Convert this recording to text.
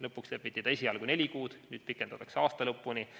Lõpuks lepiti kokku esialgu neli kuud, nüüd pikendatakse seda aasta lõpuni.